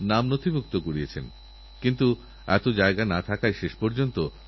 লক্ষলক্ষ পুণ্যার্থী এসেছিলেন লক্ষ লক্ষ গাছের চারা বণ্টন করা হয়েছিল সেই বছর